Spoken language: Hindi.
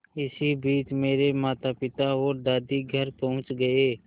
इसी बीच मेरे मातापिता और दादी घर पहुँच गए